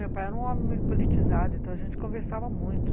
Meu pai era um homem politizado, então a gente conversava muito.